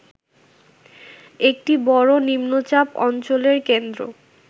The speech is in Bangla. একটি বড় নিম্নচাপ অঞ্চলের কেন্দ্র